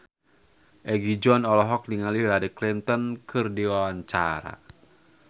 Egi John olohok ningali Hillary Clinton keur diwawancara